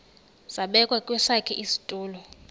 zabekwa kwesakhe isitulo